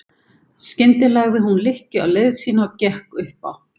Skyndilega lagði hún lykkju á leið sína og gekk upp á